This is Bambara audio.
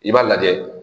I b'a lajɛ